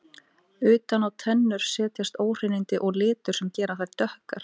Utan á tennur setjast óhreinindi og litur sem gera þær dökkar.